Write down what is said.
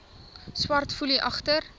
swart foelie agter